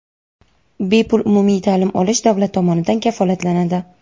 bepul umumiy ta’lim olish davlat tomonidan kafolatlanadi.